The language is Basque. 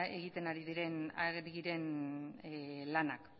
lanak